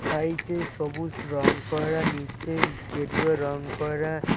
সাইটে সবুজ রং করা নীচে গেরুয়া রং করা।